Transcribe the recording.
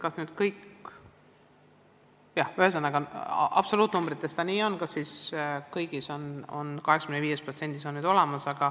Kas tõesti 85%-l koolidest on tugispetsialistid olemas, vajab täpsustamist.